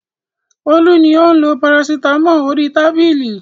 Olú ni ó ń lo parasítámọ̀ orí tábìlì.